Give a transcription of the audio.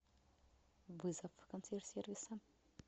вызов консьерж сервиса